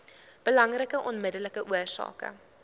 belangrikste onmiddellike oorsake